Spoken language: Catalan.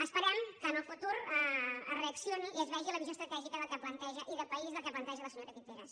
esperem que en el futur es reaccioni i es vegi la visió estratègica i de país del que planteja la senyora guiteras